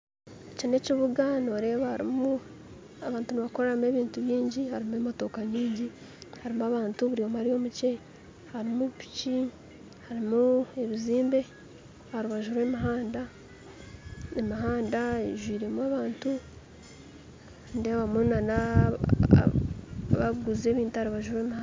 Eki n'ekibuga noreeba harimu abantu nibakoreramu ebintu bingi harimu emotooka nyingi harimu abantu buri omwe ari omukyeye harimu piiki harimu ebizimbe aharubaju rw'omuhanda haijwiremu abantu nindeebamu nabakuguza ebintu aharubaju rw'omuhanda